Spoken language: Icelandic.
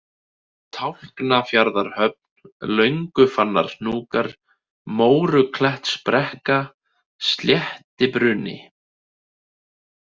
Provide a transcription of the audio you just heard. Tálknafjarðarhöfn, Löngufannarhnjúkar, Móruklettsbrekka, Sléttibruni